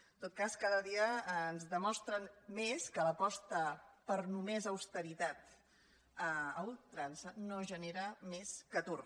en tot cas cada dia ens demostren més que l’aposta per només austeritat a ul·trança no genera més que atur